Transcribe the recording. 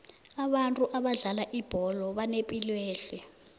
abantu abadlala ibholo banepilwehle